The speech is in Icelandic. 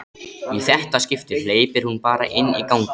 Í þetta skipti hleypir hún bara inn í ganginn.